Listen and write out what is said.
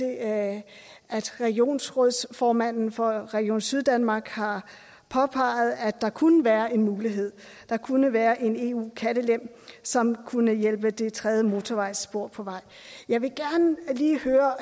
at regionsrådsformanden for region syddanmark har påpeget at der kunne være en mulighed der kunne være en eu kattelem som kunne hjælpe det tredje motorvejsspor på vej jeg vil gerne lige høre